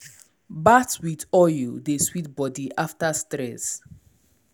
bath with oil dey sweet body after stress.